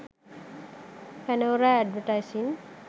panora advertising